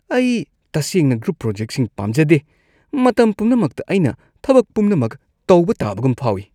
ꯑꯩ ꯇꯁꯦꯡꯅ ꯒ꯭ꯔꯨꯞ ꯄ꯭ꯔꯣꯖꯦꯛꯁꯤꯡ ꯄꯥꯝꯖꯗꯦ; ꯃꯇꯝ ꯄꯨꯝꯅꯃꯛꯇ ꯑꯩꯅ ꯊꯕꯛ ꯄꯨꯝꯅꯃꯛ ꯇꯧꯕ ꯇꯥꯕꯒꯨꯝ ꯐꯥꯎꯋꯤ꯫